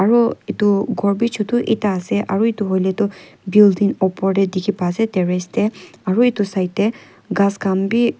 aro edu khor bi choto ekta ase aro edu hoilae tu building opor tae dikhipa ase terrace tae aro edu side tae ghas khan bi--